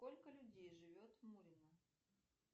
сколько людей живет в мурино